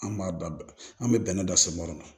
An b'a da an bɛ bɛnɛ dan so ma